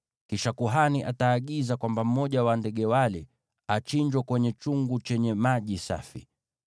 Kisha kuhani ataagiza kwamba mmoja wa ndege wale achinjwe kwenye chungu chenye maji safi.